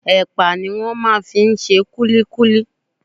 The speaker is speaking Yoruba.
Ẹ̀pà ni wọ́n máa ń fi ń ṣe kullíkúlí.